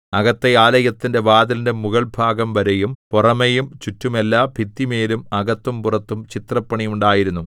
അകത്തെ ആലയത്തിന്റെ വാതിലിന്റെ മുകൾഭാഗം വരെയും പുറമെയും ചുറ്റും എല്ലാ ഭിത്തിമേലും അകത്തും പുറത്തും ചിത്രപ്പണി ഉണ്ടായിരുന്നു